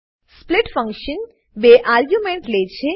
split function બે argument લે છે